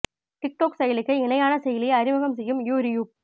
did டோக் செயலிக்கு இணையான செயலியை அறிமுகம் செய்யும் யூ ரியூப்